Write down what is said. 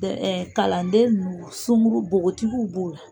kalanden ninnu sunguru bogotigiw b'o la.